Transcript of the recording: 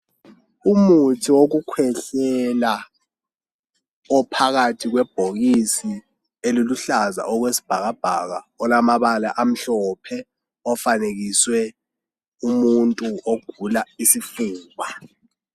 Umuthi wokukhwehlela ophakathi kwebhokisi eliluhlaza okwesibhakabhaka olamabala amhlophe ofanekiswe umuntu ogula isifuba.